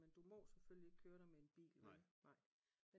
Men du må selvfølgelig ikke køre der med en bil vel